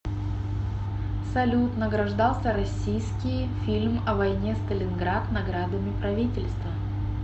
салют награждался россиискии фильм о воине сталинград наградами правительства